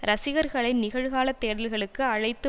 ரசிகர்களை நிகழ்கால தேடல்களுக்கு அழைத்து